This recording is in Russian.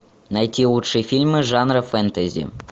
найти лучшие фильмы жанра фэнтези